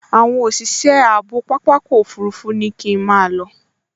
Àwọn òṣìṣẹ́ ààbò pápákọ̀ òfurufú ní kí n máa lọ